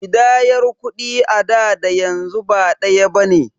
Ƙidayar kuɗi a da da yanzu ba ɗaya bane.